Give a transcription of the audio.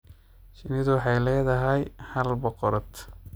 Shinnidu waxay leedahay hal boqorad.